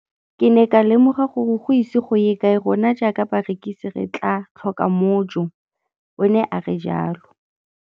Ke ne ka lemoga gore go ise go ye kae rona jaaka barekise re tla tlhoka mojo, o ne a re jalo.